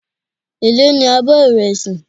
Èló ní abọ́ ìrẹsì.